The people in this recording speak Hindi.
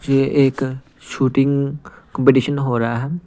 ये एक शूटिंग कंपटीशन हो रहा है।